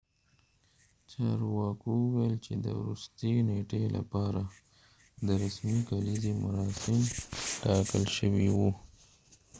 چارواکو وويل چې د ورستۍ نیټې لپاره د رسمي کليزې مراسم ټاکل شوي وو